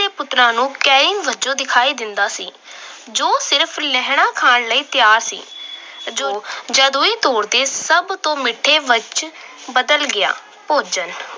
ਦੇ ਪੁੱਤਰਾਂ ਨੂੰ ਵਜੋਂ ਦਿਖਾਈ ਦਿੰਦਾ ਸੀ ਜੋ ਸਿਰਫ ਲਹਿਣਾ ਖਾਣ ਲਈ ਤਿਆਰ ਸੀ। ਜਦ ਉਹ ਤੋੜਦੇ ਸਭ ਤੋਂ ਮਿੱਠੇ ਵਿੱਚ ਬਦਲ ਗਿਆ ਭੋਜਨ।